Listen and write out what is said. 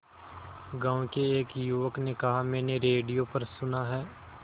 गांव के एक युवक ने कहा मैंने रेडियो पर सुना है